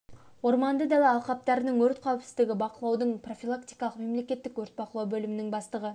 орманды дала алқаптарының өрт қауіпсіздігі бақылаудың профилактикалық мемлекеттік өрт бақылау бөлімінің бастығы